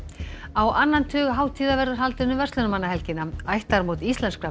á annan tug hátíða verður haldinn um verslunarmannahelgina ættarmót íslenskra